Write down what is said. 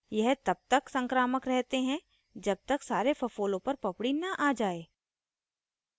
यह तब तक संक्रामक रहते है जब तक सारे फफोलों पर पपड़ी न आ जाये